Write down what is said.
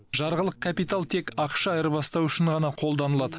жарғылық капитал тек ақша айырбастау үшін ғана қолданылады